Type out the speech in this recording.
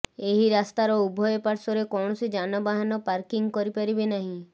ଏହି ରାସ୍ତାର ଉଭୟ ପାର୍ଶ୍ୱରେ କୌଣସି ଯାନବାହାନ ପାର୍କିଂ କରିପାରିବେ ନାହିଁ